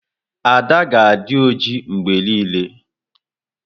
Ada ga-adị ojii mgbe niile.